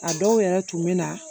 A dɔw yɛrɛ tun bɛ na